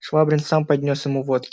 швабрин сам поднёс ему водки